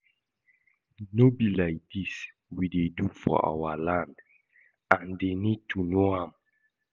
No be like dis we dey do for our land and dey need to know am